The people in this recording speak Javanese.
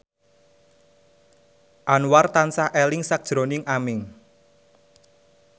Anwar tansah eling sakjroning Aming